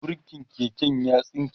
burkin keken ya tsinke